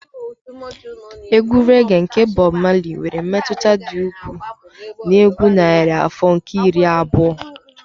Egwu rẹ́ge nke Bob Marley nwere mmetụta dị ukwuu na egwu narị afọ nke iri abụọ.